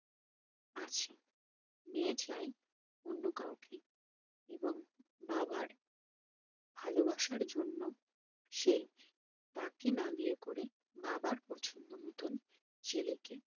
আছে মেয়ে চাই অন্য কাওকে এবং বাবার ভালোবাসার জন্য সে তাকে না বিয়ে করে বাবার পছন্দ মতন ছেলেকে